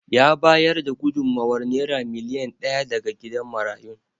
Ya bayar da gudummawar Naira miliyan daya ga gidan marayun.